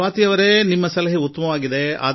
ಸ್ವಾತಿಜೀಯವರೆ ನಿಮ್ಮ ಸಲಹೆ ಉತ್ತಮವಾಗಿದೆ